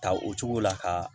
Ta o cogo la ka